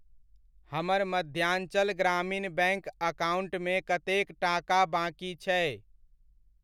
हमर मध्यांचल ग्रामीण बैङ्क अकाउण्टमे कतेक टाका बाकि छै?